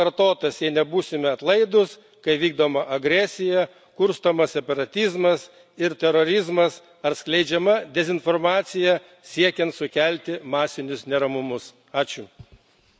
Paktas nebus pakartotas, jei nebūsime atlaidūs, kai vykdoma agresija, kurstomas separatizmas ir terorizmas ar skleidžiama dezinformacija, siekiant sukelti masinius neramumus.